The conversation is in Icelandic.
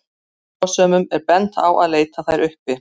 Áhugasömum er bent á að leita þær uppi.